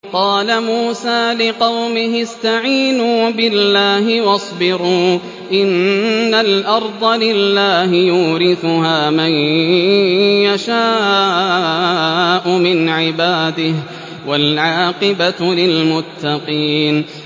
قَالَ مُوسَىٰ لِقَوْمِهِ اسْتَعِينُوا بِاللَّهِ وَاصْبِرُوا ۖ إِنَّ الْأَرْضَ لِلَّهِ يُورِثُهَا مَن يَشَاءُ مِنْ عِبَادِهِ ۖ وَالْعَاقِبَةُ لِلْمُتَّقِينَ